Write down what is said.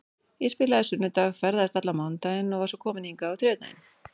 Ég spilaði á sunnudag, ferðaðist allan mánudaginn og var svo komin hingað á þriðjudaginn.